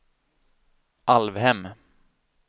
Alvhem